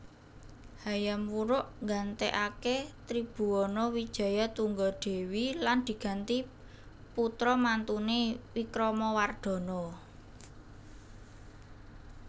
Hayam Wuruk nggantèkaké Tribhuwana Wijayatunggadewi lan diganti putra mantuné Wikramawardhana